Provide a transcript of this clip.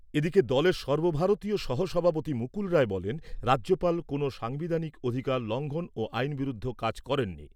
এদিকে দলের সর্বভারতীয় সহ সভাপতি মুকুল রায় বলেন, রাজ্যপাল কোনও সাংবিধানিক অধিকার লঙ্ঘন ও আইনবিরুদ্ধ কাজ করেননি।